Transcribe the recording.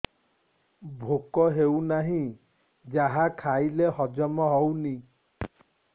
ଭୋକ ହେଉନାହିଁ ଯାହା ଖାଇଲେ ହଜମ ହଉନି